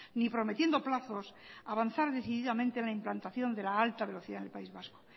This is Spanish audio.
ni prometiendo plazos avanzar decididamente en la implantación de la alta velocidad en el país vasco